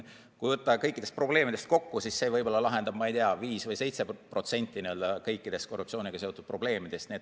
Kui võtta kõik probleemid kokku, siis see lahendab, ma ei tea, 5% või 7% kõikidest korruptsiooniga seotud probleemidest.